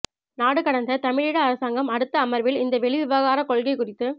நாடுகடந்த தமிழீழ அரசாங்கம் அடுத்த அமர்வில் இந்த வெளிவிவகாரக் கொள்கை குறித்து